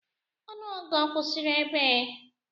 Ọnụọgụgụ ọ kwụsịrị ebee?